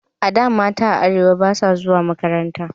A da, mata a arewa ba su zuwa makaranta